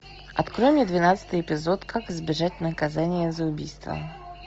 открой мне двенадцатый эпизод как избежать наказания за убийство